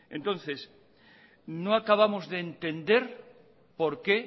entonces no acabamos de entender por qué